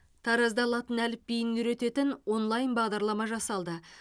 таразда латын әліпбиін үйрететін онлайн бағдарлама жасалды